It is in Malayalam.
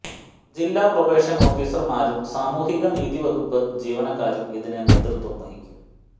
ജില്ലാ പ്രൊബേഷൻ ഓഫീസർമാരും സാമൂഹികനീതി വകുപ്പ് ജീവനക്കാരും ഇതിന് നേതൃത്വം വഹിക്കും